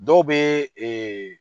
Dɔw bɛ